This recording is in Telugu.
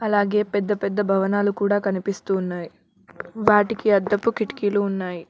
అలాగే పెద్ద పెద్ద భవనాలు కూడా కనిపిస్తూ ఉన్నాయి వాటికి అద్దపు కిటికీలు ఉన్నాయి.